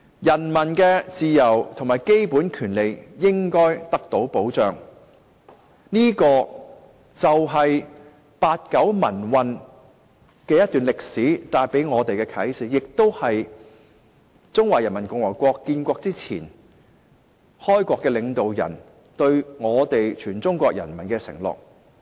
人民的自由和基本權利應該得到保障，這便是八九民運這段歷史帶給我們的啟示，亦是中華人民共和國建國前，開國領導人對全中國人民的承諾。